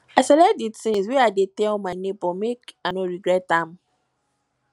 i select di tins wey i dey tell my nebor make i no regret am